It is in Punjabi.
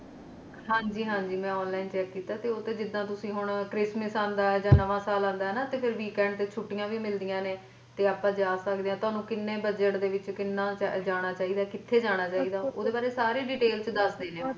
ਹਾਂ ਜੀ ਹਾਂ ਜੀ ਮੈਂ online check ਕੀਤਾ ਸੀ ਉੱਥੇ ਜਿੱਦਾਂ ਤੁਸੀਂ ਹੁਣ ਕ੍ਰਿਸਮਸ ਆਉਂਦਾ ਹੈ ਜਾਂ ਨਵਾਂ ਸਾਲ ਆਉਂਦਾ ਹੈ ਨਾ ਕਿਤੇ weekend ਤੇ ਛੁੱਟੀਆਂ ਵੀ ਮਿਲਦੀਆਂ ਨੇ ਤੇ ਆਪਾ ਜਾ ਸ਼ਕਦੇ ਆ ਤੁਹਾਨੂੰ ਕਿੰਨੇ bugget ਦੇ ਵਿੱਚ ਕਿੰਨਾ ਜਾਣਾ ਚਾਹਿਦਾ ਕਿੱਥੇ ਜਾਣਾ ਚਾਹਿਦਾ ਉਹਦੇ ਬਾਰੇ ਸਾਰੀ detail ਵਿੱਚ ਦੱਸਦੇ ਨੇ ਉਹ